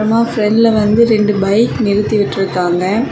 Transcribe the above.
ஃப்ரெண்ட்ல வந்து ரெண்டு பைக் நிறுத்தி விட்டுருக்காங்க.